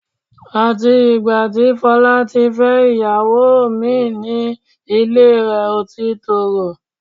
Àti ìgbà tí Fọlá ti fẹ́ ìyàwó mín ìn ni ilé rẹ̀ ò ti tòrò